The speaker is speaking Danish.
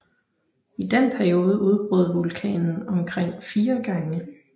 I den periode udbrød vulkanen omkring 4 gange